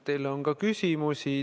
Teile on ka küsimusi.